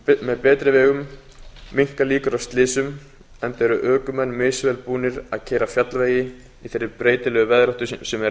með betri vegum minnka líkur á slysum enda eru ökumenn misvel búnir að keyra fjallvegi í þeirri breytilegu veðráttu sem er